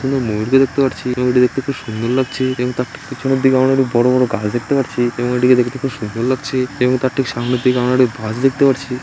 কিন্তু ময়ূরকে দেখতে পারছি ময়ূরটিকে দেখতে খুব সুন্দর লাগছে এবং তার ঠিক পেছনের দিকে আমরা বড়ো বড়ো গাছ দেখতে পারছি এবং এটিকে দেখতে খুব সুন্দর লাগছে এবং তার ঠিক সামনের দিকে আমরা একটি গাছ দেখতে পারছি।